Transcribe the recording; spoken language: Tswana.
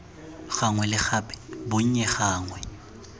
gangwe le gape bonnye gangwe